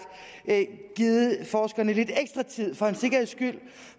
givet forskerne lidt ekstra tid for en sikkerheds skyld